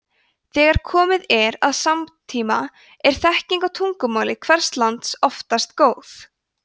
þegar komið er að samtíma er þekking á tungumáli hvers lands oftast góð